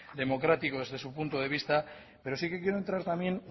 democrático desde su punto de vista pero sí que quiero entrar también